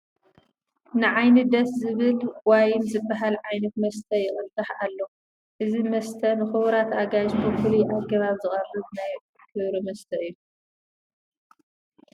ንዓይኒ ደስ ዝብል ዋይን ዝበሃል ዓይነት መስተ ይቕዳሕ ኣሎ፡፡ እዚ መስተ ንኽቡራት ኣጋይሽ ብፍሉይ ኣገባብ ዝቐርብ ናይ ክብሪ መስተ እዩ፡፡